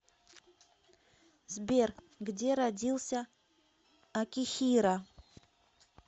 сбер где родился акихиро